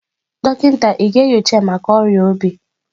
Dọkịta ị ga-enyocha ya maka ọrịa obi?